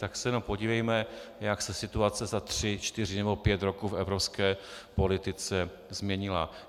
Tak se jenom podívejme, jak se situace za tři, čtyři nebo pět roků v evropské politice změnila.